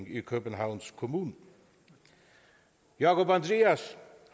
i københavns kommune jákup andrias